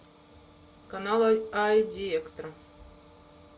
канал ай ди экстра